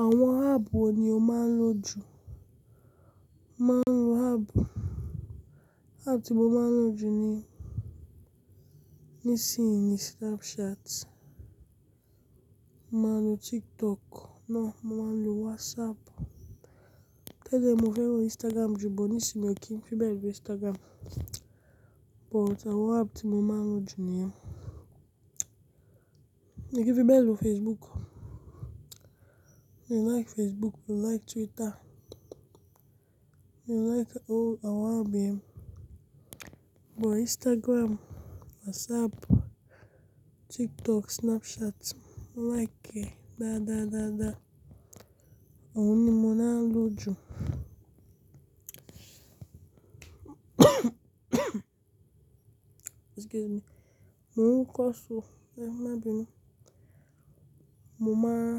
Àwọn app wo ni o máa ń lò jù? Máa ń lò app, app tí mo máa ń lò jù ni, nísinyì ni Snapchat. Mo máa ń lò TikTok. Náà, mo máa ń lò WhatsApp. Tẹ́lẹ̀ mo fẹ́ràn Instagram jù, bó ní sínú mi kì í fi bẹ́ẹ̀ lò Instagram. But àwọn app tí mo máa ń lò jù ni yẹn. Èmi kì í fi bẹ́ẹ̀ lò Facebook. Mi ò like Facebook, mi ò like Twitter. Mi ò like irú àwọn app yẹn. But Instagram, WhatsApp, TikTok, Snapchat, mo like ẹ da, da, da, da. Àwọn ni mo máa ń lò jù. Excuse me. Mo ń kọ́ṣẹ́ o, ẹ má bínú. Mo máa,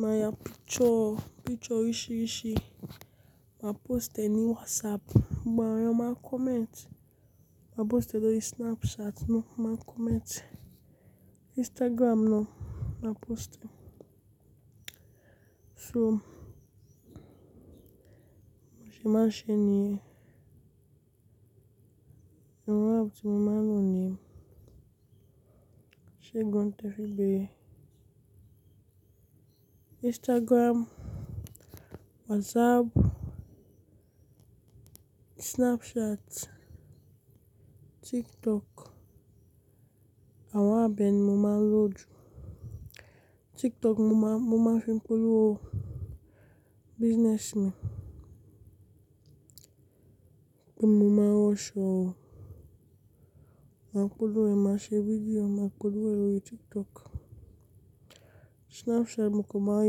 máa ya picture, picture oríṣìíríṣìí, màá post e ní WhatsApp, gbogbo àwọn èèyàn máa comment. Màá post e lórí Snapchat, wọ́n máa comment. Instagram náà, màá post e. So mo ṣe máa ń ṣe ni yẹn. Àwọn app tí mo máa ń lò nìyẹn, ṣé nǹkan tẹ fé béére? Instagram, WhatsApp, Snapchat, TikTok, àwọn app bẹ́ẹ̀ ni mo máa ń lò jù. TikTok mo máa, mo máa fi ń polówó. Business mi. Pé mo maá ń rán aṣọ o, màá polówó rẹ̀, màá ṣe video e, màá polówó e lórí TikTok. Snapchat mó kan máa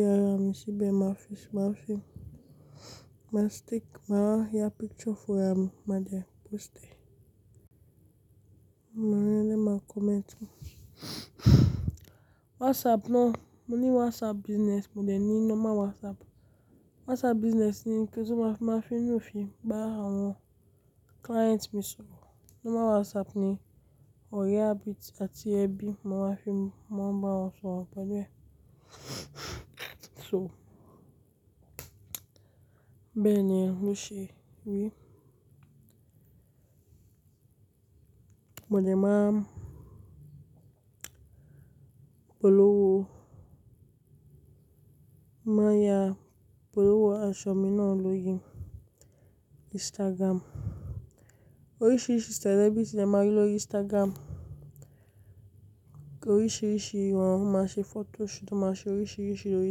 ya ara mi síbẹ̀, máa fi, máa fi, máa stick, màá ya picture fún ra mi, màá jẹ́ post e. Gbogbo àwọn ara ilé máa comment. WhatsApp náà, mo ní WhatsApp business, mo dẹ̀ ní nọ́mà WhatsApp. WhatsApp business ni kí n tún máa máa video film bá àwọn client mi sọ̀rọ̀. Nọ́mà WhatsApp ni òre ábi atí ébì, mo máa fi ń, mo máa ń bá wọn sọ̀rọ̀ pẹ̀lú ẹ. So bẹ́ẹ̀ ni ẹ n ó ṣe rí i. Mo dẹ̀ máa ń polówó, máa ya polówó aṣọ mi náà lórí Instagram. Oríṣìíríṣìí celebrity le máa rí lórí Instagram. Oríṣìíríṣìí wọn wọ́n máa ṣe photo shoot, máa ṣe oríṣìíríṣìí lórí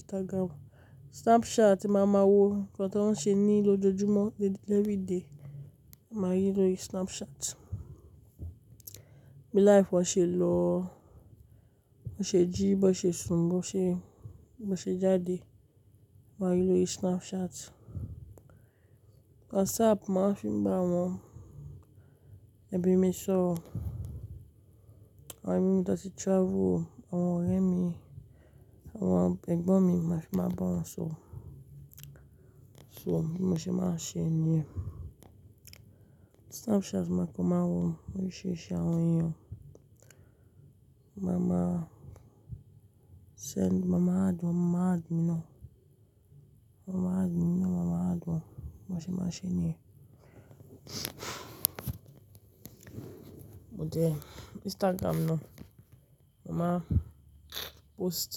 Instagram. Snapchat, màá máa wo nǹkan tó ń ṣe ní lójoojúmọ́, levery day. Màá rí i lórí Snapchat. Bí life wá ṣe lọ́, ó ṣe jí, bó ṣe sùn, bó ṣe, bó ṣe jáde, wàá rí i lórí Snapchat. WhatsApp, mo màá fi ń bá àwọn ẹbí mi sọ̀rọ̀. Àwọn ẹbí mi dẹ̀ ti travel o, àwọn ọ̀rẹ́ mi, àwọn egbọ́n mi, màá fi máa bá wọn sọ̀rọ̀. So bí mo ṣe máa ń ṣe ni yẹn. Snapchat máa kan máa wo oríṣìíríṣìí àwọn èèyàn. Mo máa máa send, màá màá add wọn màá add mi náà. Wọ́n máa add mi èmi náà, màá màá add wọn. Bó ṣe máa ṣe ni yẹn. Mo dẹ̀, Instagram náà, mo máa post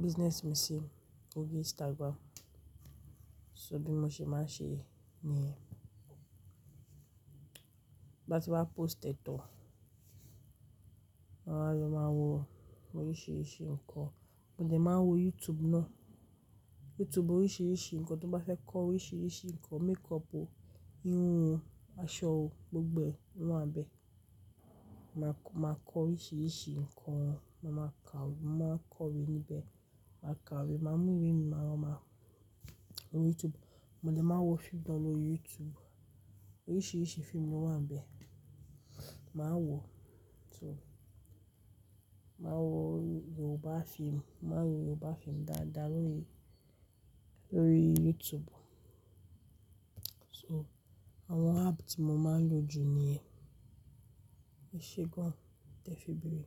business mi sí òrì Instagram. So bí mo ṣe máa ṣe ni yẹn. Tí n bá ti wá post e tán, máa wa lọ̀ máa wo oríṣìíríṣìí nǹkan. Mo dẹ̀ máa wo YouTube náà. YouTube oríṣìíríṣìí nǹkan, t'o bá fẹ́ kọ́ oríṣìíríṣìí nǹkan, makeup o, irun o, aṣọ o, gbogbo e o wa n bẹ̀. Màá kọ́ oríṣìíríṣìí nǹkan, mo màá kàwé, mo màá kọ̀wé níbẹ̀. Màá kàwé, màá mú ìwé mi, màá, wa màá, wo YouTube. Mo dẹ̀ máa wo fíìmù gan lórí YouTube. Oríṣìíríṣìí fíìmù ló wà níbẹ̀. Màá wò ó. So màá wo Yorùbá fíìmù, mo màá wo Yorùbá fíìmù dáadáa lórí, lórí YouTube. So àwọn app tí mo máa ń lò jù ni yẹn. Ṣé gum tẹ fi béére?